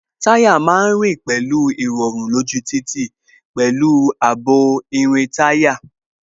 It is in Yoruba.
Táyà má ń rìn pẹ̀lú irọrun lójú títì, pẹ̀lú ààbò irin táyà